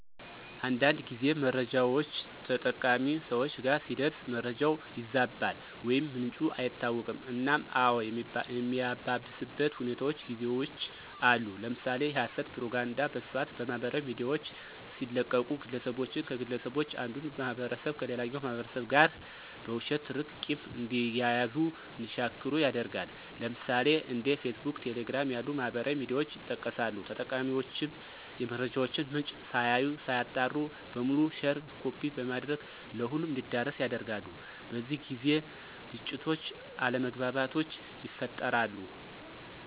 አንዳንድ ጊዜ መረጃውች ተጠቃሚ ሰወች ጋር ሲደርስ መረጃው ይዛባል ወይም ምንጩ አይታወቅም እናም አዎ የሚያባብስበት ሁኔታውች ጊዜውች አሉ። ለምሳሌ የሀሰት ፕሮፖጋንዳ በስፋት በማህበራዊ ሚዲያውች ሲለቀቁ ግለሰቦችን ከግለሰቦች አንዱን ማህበረሰብ ከሌላኛው ማህበረሰብ ጋር በውሸት ትርክት ቂም እንዲያያዙ እንዲሻክሩ ያደርጋል። ለምሳሌ፦ እንደ ፌስቡክ፣ ቴሌግራም ያሉ ማህበራዊ ሚዲያውች ይጠቀሳሉ። ተጠቃሚውችም የመረጃውን ምንጭ ሳያዩ ሳያጣሩ በሙሉ ሼር ኮፒ በማድረግ ለሁሉም እንዲዳረስ ያደርጋሉ። በዚህ ጊዜ ግጭቶች አለመግባባቶች ይፈጠራሉ።